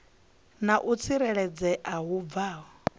na u tsireledzea hu bvaho